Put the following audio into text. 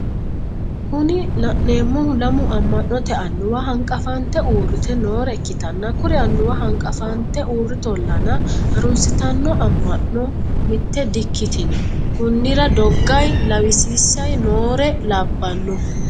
Kuni la'neemohu lamu amma'note annuwa hanqafante uurrite noore ikkitanna kuri annuwa hanqafante uurritollana harunsitanno amma'no mitte di"ikkitino konnira dogayi lawisiisayi noore labbanno.